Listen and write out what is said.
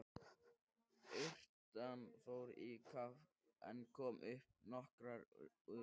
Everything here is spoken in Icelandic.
Urtan fór í kaf en kom upp nokkru utar.